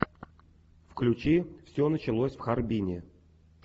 включи все началось в харбине